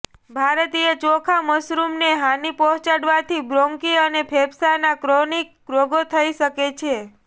ભારતીય ચોખા મશરૂમને હાનિ પહોંચાડવાથી બ્રોન્કી અને ફેફસાના ક્રોનિક રોગો થઇ શકે છે